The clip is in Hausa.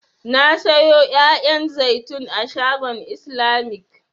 Na sayo 'ya'yan zaitun a shagon islamic.